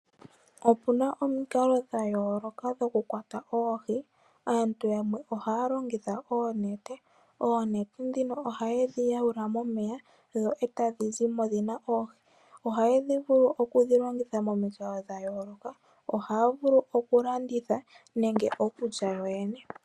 Opuna omikalo dha yooloka dhokukwata oohi, aantu yamwe ohaya longitha oonete, oonete dhika oha yedhi yaula momeya dho tadhi zimo dhina oohi, ohaya vulu oku dhi longitha momikalo dha yooloka, ohaya vulu odhi landitha nenge okulya yowne.